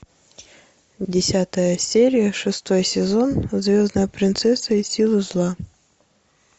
десятая серия шестой сезон звездная принцесса и силы зла